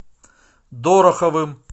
дороховым